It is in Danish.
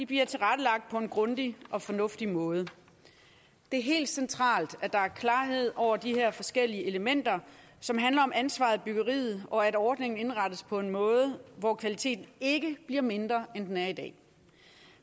bliver tilrettelagt på en grundig og fornuftig måde det er helt centralt at der er klarhed over de her forskellige elementer som handler om ansvaret i byggeriet og at ordningen indrettes på en måde hvor kvaliteten ikke bliver mindre end den er i dag